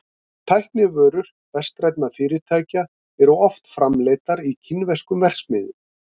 Tæknivörur vestrænna fyrirtækja eru oft framleiddar í kínverskum verksmiðjum.